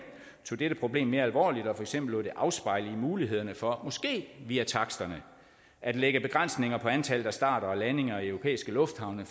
tog dette problem mere alvorligt og for eksempel lod dette afspejle i mulighederne for måske via taksterne at lægge begrænsninger på antallet af starter og landinger i europæiske lufthavne